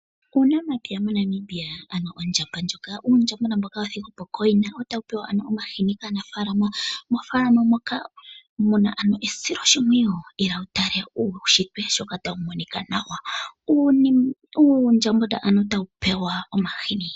Uunamapya moNamibia ano uundjama uushona wathigwapo kooyina otawu pewa omahini kaanafaalama moonfaalama moka muna esoloshimpwiyu. Ila wutale uundjambona ano tawu pewa omahini.